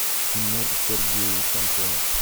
тимур сергеевич антонов